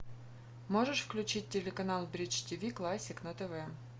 можешь включить телеканал бридж тиви классик на тв